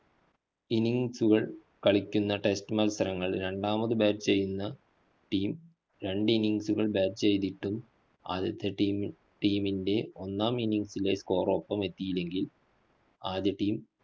innings കൾ കളിക്കുന്ന test മത്സരങ്ങള്‍ രണ്ടാമത് bat ചെയ്യുന്ന team രണ്ട് innings കള്‍ bat ചെയ്തിട്ടും ആദ്യത്തെ ടീമി team ൻറെ ഒന്നാം innings ൻറെ score ഒപ്പമെത്തിയില്ലെങ്കില്‍ ആദ്യ team